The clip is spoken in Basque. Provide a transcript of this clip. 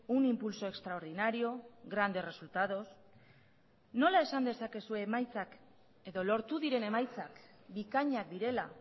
un impulso extraordinario grandes resultados nola esan dezakezue emaitzak edo lortu diren emaitzak bikainak direla